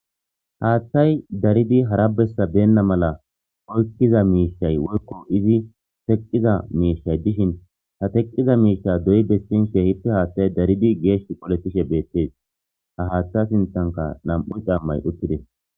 haaththay daridi hara bessa beenna mala oykkiza miishay woykko izi teqqiza miishay dishin ha teqqiza miisha doyi besinshe kehippe haaththay daridi geesh qoletishe beettees ha haaththa sinthanka nam'u cammay uttides